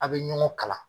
A' bɛ ɲɔgɔn kala